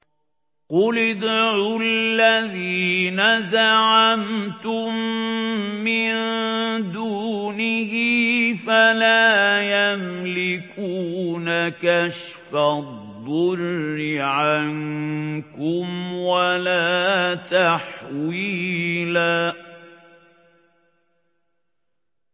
قُلِ ادْعُوا الَّذِينَ زَعَمْتُم مِّن دُونِهِ فَلَا يَمْلِكُونَ كَشْفَ الضُّرِّ عَنكُمْ وَلَا تَحْوِيلًا